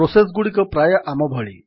process ଗୁଡିକ ପ୍ରାୟ ଆମ ଭଳି